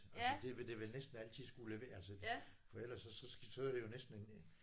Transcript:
Altså det vil det vel næsten altid skulle altså for ellers så så så er det jo næsten en en